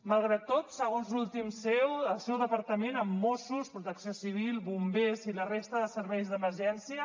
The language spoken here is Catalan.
malgrat tot segons l’últim ceo el seu departament amb mossos protecció civil bombers i la resta de serveis d’emergència